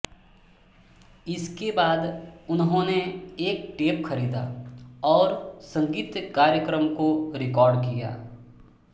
इसके बाद उन्होंने एक टेप खरीदा और संगीत कार्यक्रम को रिकॉर्ड किया